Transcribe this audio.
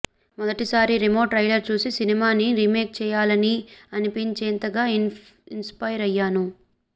మొదటిసారి రేమో ట్రైలర్ చూసి సినిమాని రీమేక్ చేయాలనీ అనిపించేంతగా ఇన్ స్పైర్ అయ్యాను